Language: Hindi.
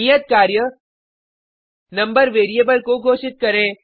नियत कार्य नंबर वेरिएबल को घोषित करें